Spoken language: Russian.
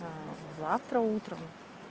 завтра утром